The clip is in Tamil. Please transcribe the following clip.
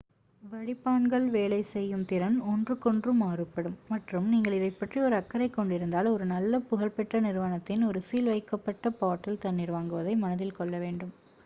வடிப்பான்கள் வேலை செய்யும் திறன் ஒன்றுக்கொன்று மாறுபடும் மற்றும் நீங்கள் இதைப்பற்றி ஒரு அக்கறைக் கொண்டிருந்தால் ஒரு நல்ல புகழ்பெற்ற நிறுவனத்தின் ஒரு சீல் செய்யப்பட்ட பாட்டில் தண்ணீர் வாங்குவதை மனதில் கொள்ள வேண்டும்